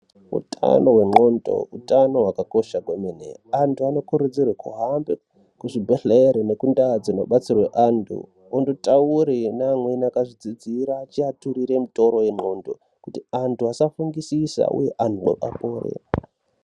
Utano hwendxondo utano hwakakosha kwemene antu anokurudzirwe kuhamba kuzvibhedhleya nekumbatso dzinobatsirwe antu ondotaure neamweni akazvidzidzira achiaturire mitoro yendxondo kuti antu asafungisisa uye antu apore.